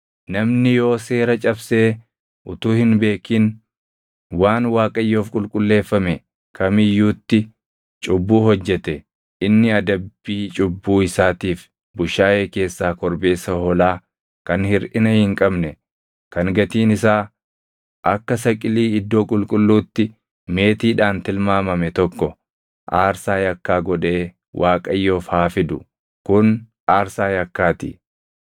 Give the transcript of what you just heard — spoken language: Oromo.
“Namni yoo seera cabsee utuu hin beekin waan Waaqayyoof qulqulleeffame kam iyyutti cubbuu hojjete inni adabbii cubbuu isaatiif bushaayee keessaa korbeessa hoolaa kan hirʼina hin qabne kan gatiin isaa akka saqilii iddoo qulqulluutti meetiidhaan tilmaamame tokko aarsaa yakkaa godhee Waaqayyoof haa fidu; kun aarsaa yakkaa ti.